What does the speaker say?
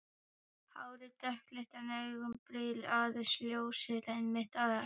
Hárið dökkleitt en augabrýrnar aðeins ljósari, ennið hátt.